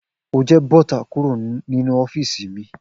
O jẹ bọta kúrò ninu ọfìsí mi!